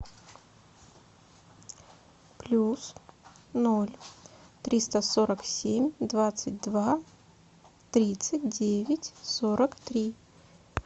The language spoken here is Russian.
плюс ноль триста сорок семь двадцать два тридцать девять сорок три